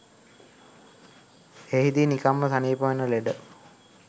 එහිදී නිකම්ම සනීප වන ලෙඩ